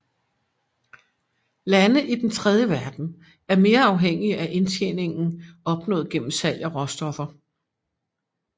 Lande i Den tredje verden er mere afhængige af indtjeningen opnået gennem salg af råstoffer